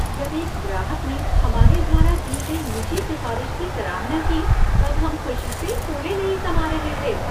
जब एक ग्राहक ने हमारे द्वारा दी गई निजी सिफ़ारिश की सराहना की तब हम ख़ुशी से फूले नहीं समा रहे थे।